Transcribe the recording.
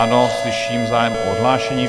Ano, slyším zájem o odhlášení.